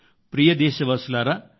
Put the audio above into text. ప్రియమైన దేశవాసుల్లారా